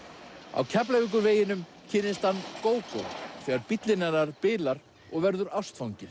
á Keflavíkurveginum kynnist hann Gógó þegar bíllinn hennar bilar og verður ástfanginn